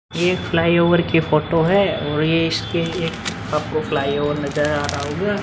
ये एक flyover की फोटो है और ये एक आपको फ्लाई ओवर नज़र आ रहा होगा।